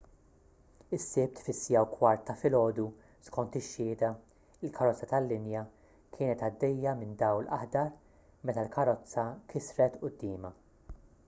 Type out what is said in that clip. is-sibt fis-1:15 ta’ filgħodu skont ix-xhieda il-karozza tal-linja kienet għaddejja minn dawl aħdar meta l-karozza kisret quddiemha